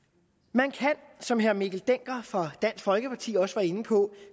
man kan som herre mikkel dencker fra dansk folkeparti også var inde på